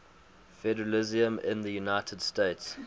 federalism in the united states